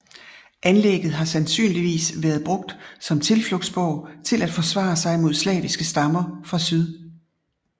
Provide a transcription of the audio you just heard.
Anlægget har sandsynligvis været brugt som tilflugtsborg til at forsvare sig mod slaviske stammer fra syd